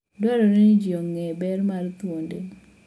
Dwarore ni ji ong'e ber mar thuonde.